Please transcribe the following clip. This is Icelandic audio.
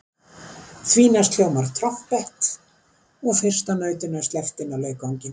Því næst hljómar trompet og fyrsta nautinu er sleppt inn á leikvanginn.